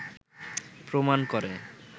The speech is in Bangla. প্রমাণ করে